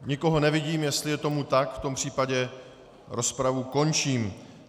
Nikoho nevidím, jestli je tomu tak, v tom případě rozpravu končím.